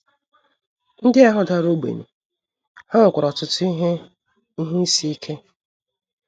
Ndị ahụ dara ogbenye, ha nwekwara ọtụtụ ihe ihe isi ike.